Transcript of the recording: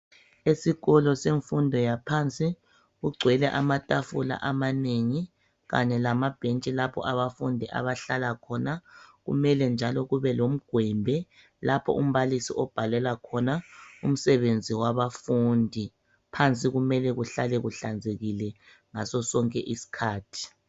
Esikolo semfundo yaphansi, kugcwele amathafula amanengi, kanye lamabhentshi lapho abafundi abahlala khona, kumele njalo kube lomgwembe lapho umbalisi obhalela khona, umsebenzi wabafundi. Phansi kumele kuhlale kuhlanzekile ngaso sonke iskhathi